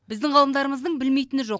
біздің ғалымдарымыздың білмейтіні жоқ